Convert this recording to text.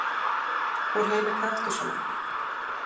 Úr heimi kaktusanna.